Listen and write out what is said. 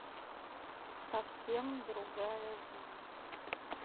совсем другая жизнь